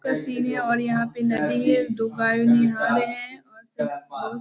का सीन है और यहाँ पे नदी है दो गाय है नहा रहे हैं और --